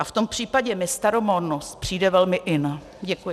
A v tom případě mi staromódnost přijde velmi in. Děkuji.